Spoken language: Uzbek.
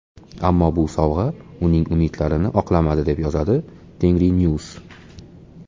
Ammo bu sovg‘a uning umidlarini oqlamadi, deb yozadi Tengrinews.